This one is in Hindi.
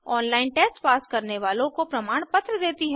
ऑनलाइन टेस्ट पास करने वालों को प्रमाणपत्र देती है